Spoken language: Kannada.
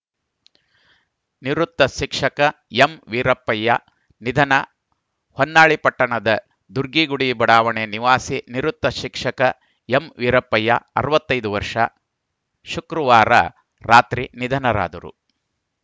ನಿವೃತ್ತ ಶಿಕ್ಷಕ ಎಂವೀರಪ್ಪಯ್ಯ ನಿಧನ ಹೊನ್ನಾಳಿ ಪಟ್ಟಣದ ದುರ್ಗಿಗುಡಿ ಬಡಾವಣೆ ನಿವಾಸಿ ನಿವೃತ್ತ ಶಿಕ್ಷಕ ಎಂವೀರಪ್ಪಯ್ಯ ಅರವತ್ತ್ ಐದು ವರ್ಷ ಶುಕ್ರವಾರ ರಾತ್ರಿ ನಿಧನರಾದರು